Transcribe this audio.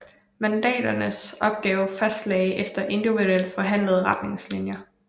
Mandatarernes opgaver fastlagdes efter individuelt forhandlede retningslinjer